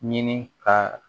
Ɲini ka